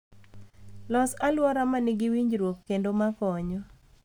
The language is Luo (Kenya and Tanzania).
Los alwora ma nigi winjruok kendo ma konyo